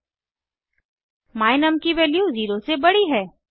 my num की value 0 से बड़ी है